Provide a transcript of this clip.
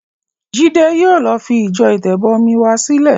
Jídé yìí ló fi ìjọ Ìtẹ̀bọmi wa sílẹ̀.